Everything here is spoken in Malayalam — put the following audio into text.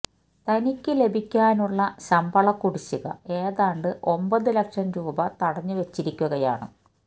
തനിക്ക് ലഭിക്കാനുള്ള ശമ്പള കുടിശ്ശിക ഏതാണ്ട് ഒമ്പത് ലക്ഷം രൂപ തടഞ്ഞു വച്ചിരിക്കുകയാണ്